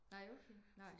Nej okay nej